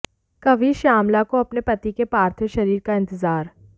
कवि श्यामला को अपने पति के पार्थव शरीर का इंतजार